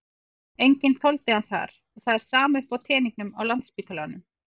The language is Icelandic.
Enginn þoldi hann þar og það er sama uppi á teningnum á Landspítalanum.